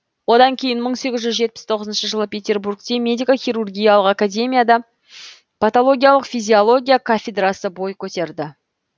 одан кейін мың сегіз жүз жетпіс тоғызыншы жылы петербургте медико хирургиялық академияда патологиялық физиология кафедрасы бой көтерді